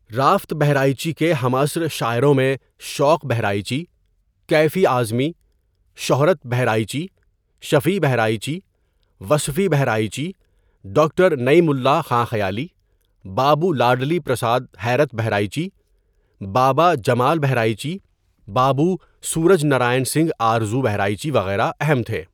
Rafat Bahraichi کے ہمعصر شاعروں میں شوق بہرائچی، کیفیؔ اعظمی، شہرت بہرائچی، شفیع ؔ بہرائچی، وصفیؔ بہرائچی، ڈاکڑ نعیم اللہ خاں خیالیؔ ،بابو لاڈلی پرساد حیرتؔ بہرائچی، بابا جمال بہرائچی، بابو سورج نرائن سنگھ آرزوؔ بہرائچی وغیرہ اہم تھے.